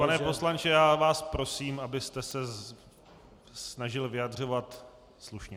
Pane poslanče, já vás prosím, abyste se snažil vyjadřovat slušně.